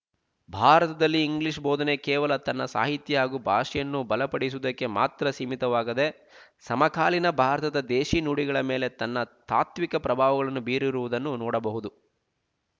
ಭಾರತದಲ್ಲಿ ಇಂಗ್ಲೀಷ ಬೋಧನೆ ಕೇವಲ ತನ್ನ ಸಾಹಿತ್ಯ ಹಾಗೂ ಭಾಷೆಯನ್ನು ಬಲಪಡಿಸುವುದಕ್ಕೆ ಮಾತ್ರ ಸೀಮಿತವಾಗದೇ ಸಮಕಾಲೀನ ಭಾರತದ ದೇಶೀ ನುಡಿಗಳ ಮೇಲೆ ತನ್ನ ತಾತ್ವಿಕ ಪ್ರಭಾವಗಳನ್ನು ಬೀರಿರುವುದನ್ನು ನೋಡಬಹುದು